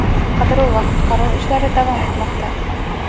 Qidiruv va qutqaruv ishlari davom etmoqda.